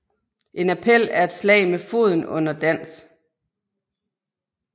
En appel er et slag med foden under dans